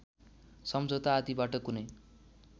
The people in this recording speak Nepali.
सम्झौता आदिबाट कुनै